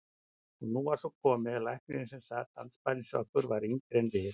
Og nú var svo komið að læknirinn sem sat andspænis okkur var yngri en við.